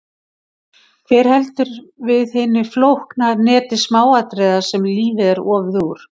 Hver heldur við hinu flókna neti smáatriða sem lífið er ofið úr?